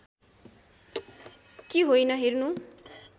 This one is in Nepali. कि होइन हेर्नु